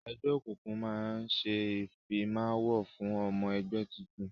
Ẹgbẹ́ òkùnkùn máa ń ṣe ìfimawo fún ọmọ ẹgbẹ́ tuntun